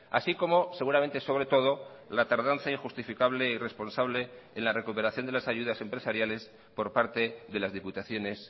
así como seguramente sobre todo la tardanza injustificable e irresponsable en la recuperación de las ayudas empresariales por parte de las diputaciones